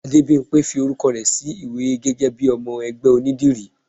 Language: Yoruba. Adébimpé fí orúkọ sí iwe gégé bi ọmọ ẹgbẹ onídìrí